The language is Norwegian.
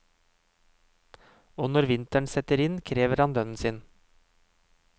Og når vinteren setter inn, krever han lønnen sin.